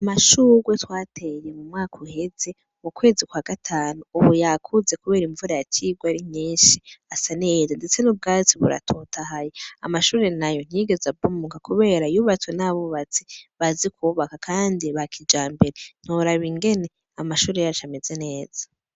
Amashurwe twateye mu mwaka uheze mu kwezi kwa gatanu, Ubu yakuze kubera imvura yaciye igwa ari nyinshi asa neza, ndetse n'ubwatsi buratotahaye, amashure nayo ntiyigeze abomoka kubera yubatswe n'abubatsi bazi kubaka kandi ba kijambere, ntiworaba ingene amashure yacu ameze neza.